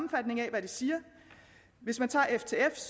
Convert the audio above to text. hvad de siger hvis man tager ftfs